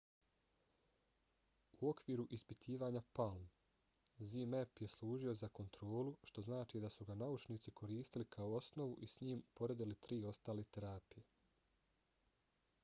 u okviru ispitivanja palm zmapp je služio za kontrolu što znači da su ga naučnici koristili kao osnovu i s njim poredili tri ostale terapije